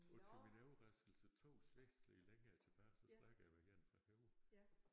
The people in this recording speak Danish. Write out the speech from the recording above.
Og til min overraskelse 2 slægtled længere tilbage så snakker jeg med en fra Højer